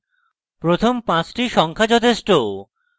প্রথম পাঁচটি সংখ্যা যথেষ্ট